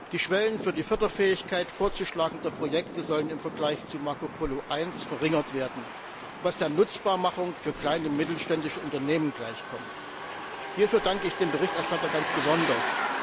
Die Schwellen für die Förderfähigkeit vorzuschlagender Projekte sollen im Vergleich zu Marco Polo I verringert werden, was der Nutzbarmachung für kleine und mittelständische Unternehmen gleichkommt. Hierfür danke ich dem Berichterstatter ganz besonders.